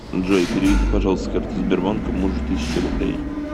джой переведи пожалуйста с карты сбербанка мужу тысячу рублей